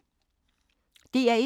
DR1